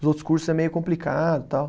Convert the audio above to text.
Os outros cursos é meio complicado e tal.